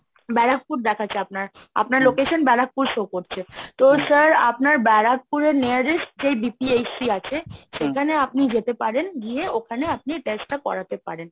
ব্যারাকপুর দেখাচ্ছে আপনার আপনার location ব্যারাকপুর show করছে তো sir আপনার ব্যারাকপুরে nearest যে BPHC আছে সেখানে আপনি যেতে পারেন, গিয়ে ওখানে আপনি test টা করাতে পারেন।